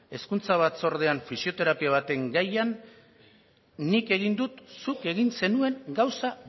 hezkuntza batzordean fisioterapia baten gaian nik egin dut zuk egin zenuen gauza